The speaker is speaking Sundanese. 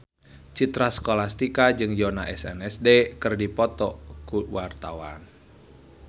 Citra Scholastika jeung Yoona SNSD keur dipoto ku wartawan